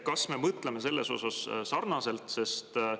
Kas me mõtleme sellest sarnaselt?